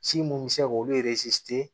Ci mun bɛ se k'olu